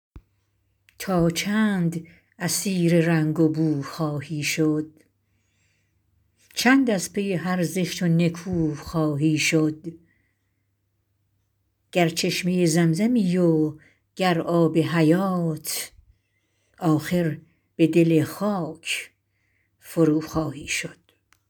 تا چند اسیر رنگ و بو خواهی شد چند از پی هر زشت و نکو خواهی شد گر چشمه زمزمی و گر آب حیات آخر به دل خاک فروخواهی شد